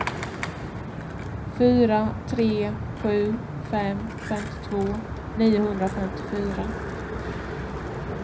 fyra tre sju fem femtiotvå niohundrafemtiofyra